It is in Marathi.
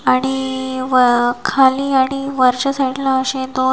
आणि खाली आणि वरच्या साईडला असे दोन--